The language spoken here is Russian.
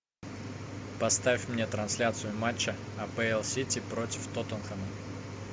поставь мне трансляцию матча апл сити против тоттенхэма